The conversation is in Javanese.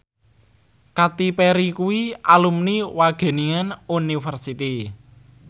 Katy Perry kuwi alumni Wageningen University